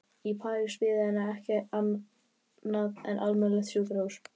Í París biði hennar ekki annað en almennt sjúkrahús.